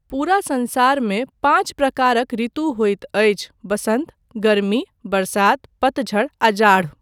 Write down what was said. पूरा संसारमे, पाँच प्रकारक ऋतु होइत अछि वसन्त, गरमी, बरसात, पतझड़ आ जाड़।